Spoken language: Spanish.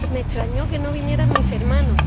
Me extrañó que no vinieran mis hermanos.